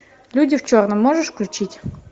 люди в черном можешь включить